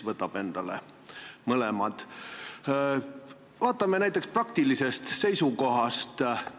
Vaatame praktilisest seisukohast!